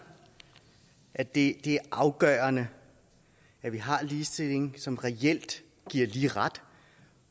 at det er afgørende at vi har ligestilling som reelt giver lige ret